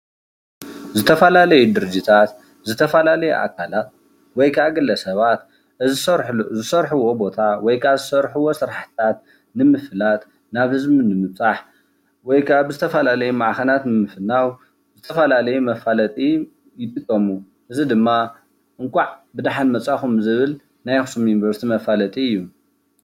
ዝተፋላለዩ ድርጅታት ዝተፋላለዩ ኣካላት ወይ ከኣ ግለ ሰባት ዝሰርሕዎ ቦታ ዝሰርሕዎ ስራሕታት ንምፍላጥ ናብ ህዝቡ ንምብፃሕ ወይ ከኣ ብዝተፋላለየ ማዕከናት ብምፍናዉ ብዝተፋላለየ መፋለጢ ይጥቀሙ እዚ ድማ እንኳዕ ብደሓን መፃእኹም ዝብል ናይ ኣከሱም ዩኒቨርሲቲ መፋለጢ እዩ፡፡